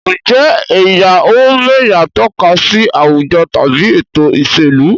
Ǹjẹ́ ẹ̀yà-ò-m'ẹ̀yà tọ́ka sí àwùjọ tàbí ètò ìṣèlú?